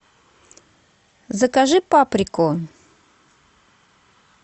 закажи паприку